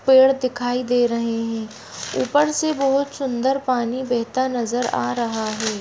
पेड़ दिखाई दे रहे हैं। ऊपर से बहुत सुन्दर पानी बेहता नजर आ रहा है।